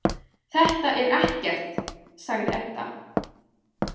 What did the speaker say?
Þetta er ekkert, sagði Edda.